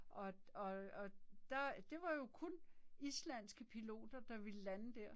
Og og og der det var jo kun islandske piloter, der ville lande der